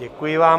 Děkuji vám.